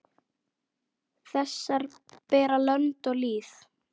Þessar bera lönd og lýð.